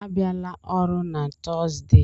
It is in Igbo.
A bịala ọrụ na Tọọzdee!